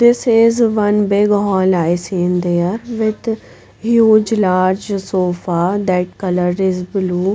This is one big hall I seen there with huge large sofa that color is blue.